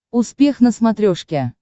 успех на смотрешке